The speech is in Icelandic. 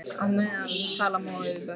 Á meðan talar móðir við börn.